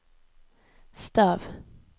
stav